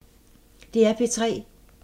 DR P3